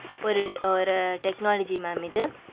ஒரு ஒரு technology mam இது